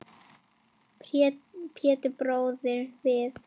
Pétur brosir við.